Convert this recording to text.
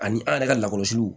Ani an yɛrɛ ka lakɔlɔsiliw